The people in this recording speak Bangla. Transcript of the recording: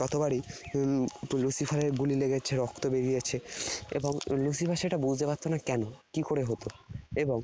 ততবারই উহ Lucifer এর গুলি লেগেছে, রক্ত বেরিয়েছে। এবং Lucifer সেটা বুঝতে পারত না কেন কিকরে হত। এবং